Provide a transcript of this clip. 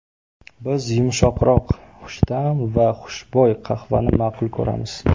Biz yumshoqroq, xushta’m va xushbo‘y qahvani ma’qul ko‘ramiz.